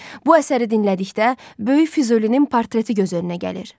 Bu əsəri dinlədikdə böyük Füzulinin portreti göz önünə gəlir.